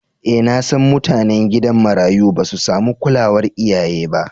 E nasan mutanen gidan marayu basu samu kulawar iyaye ba.